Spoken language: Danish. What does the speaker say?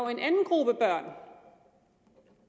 en anden gruppe børn